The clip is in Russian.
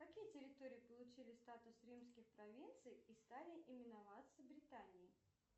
какие территории получили статус римских провинций и стали именоваться британией